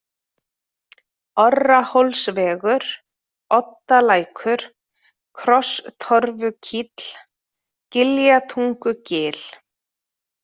Orrahólsvegur, Oddalækur, Krosstorfukíll, Giljatungugil